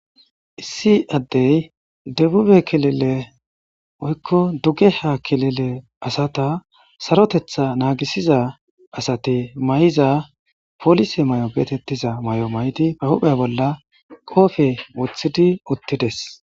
issi addey debube kelile oykko duge ha kelile asata sarotetha naagisiza asati may7iza polise may7o beetettiza may7o mayti pahuphe bolla qoofe woththidi uttides